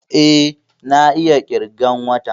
Eh, na iya ƙirgan wata